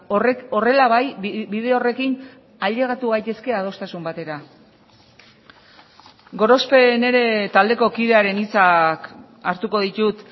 horrek horrela bai bide horrekin ailegatu gaitezke adostasun batera gorospe nire taldeko kidearen hitzak hartuko ditut